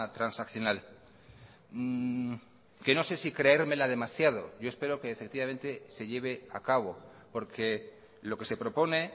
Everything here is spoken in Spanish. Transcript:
transaccional que no sé si creérmela demasiado yo espero que efectivamente se lleve a cabo porque lo que se propone